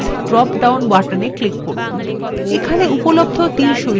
এইখানে উপলব্ধ তীর শৈলীগুলি প্রদর্শন করা হচ্ছে